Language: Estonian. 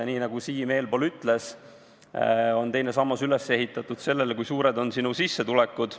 Nii nagu Siim enne ütles, teine sammas on üles ehitatud arvestades, kui suured on kellegi sissetulekud.